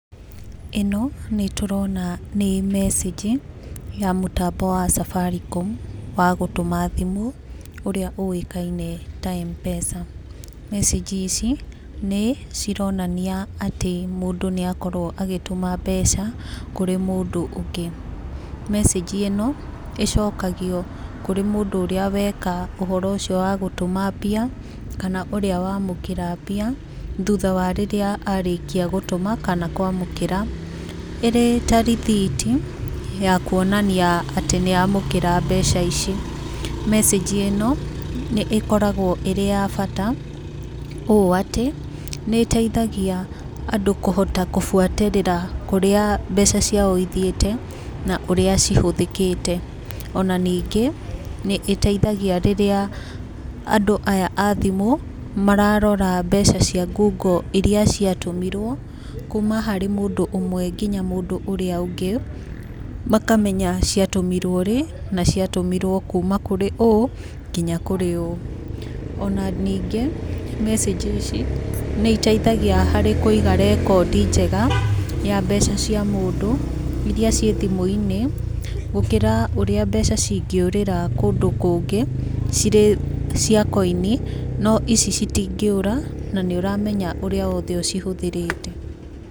ĩno nĩtũrona nĩ message ya mũtambo wa Safaricom wa gũtũma thimũ ũrĩa ũĩkaine na wa M-PESA. Message ici nĩcironania atĩ mũndũ nĩakorwo agĩtũma mbeca kũrĩ mũndũ ũngĩ. Message ĩno ĩcokagio kũrĩ mũndũ ũrĩa weka ũhoro ũcio wa gũtũma mbia kana ũrĩa wamũkĩra mbia thutha wa rĩrĩa arĩkia gũtũma kana kwamũkĩra, ĩrĩ ta rĩthiti ya kuonania atĩ nĩamũkĩra mbeca ici. Message ĩno nĩĩkoragwo ĩrĩ ya bata ũũ atĩ nĩteithagia andũ kũhota kũbuatĩrĩra kũrĩa mbeca ciao ithiĩte na ũrĩa cihũthĩkĩte, ona ningĩ nĩĩteithagia rĩrĩa andũ aya a thimũ mararora mbeca cia ngungo iria ciatũmirwo kuma harĩ mũndũ ũmwe nginya harĩ mũndũ ũrĩa ũngĩ makamenya ciatũmirwo rĩ na ciatũmirwo kuma kũri ũũ nginya kũrĩ ũũ. Ona ningĩ message nĩiteithagia harĩ kũiga rekodi njega ya mbeca cia mũndũ iria ciĩ thimũ-inĩ gũkĩra ũrĩa mbeca cingĩũrĩra kũndũ kũngĩ cirĩ cia coin no ici citingĩũra na nĩũramenya ũrĩa wothe ũcihũthĩrĩte.